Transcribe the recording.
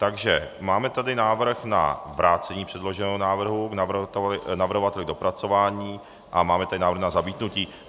Takže máme tady návrh na vrácení předloženého návrhu navrhovateli k dopracování a máme tady návrh na zamítnutí.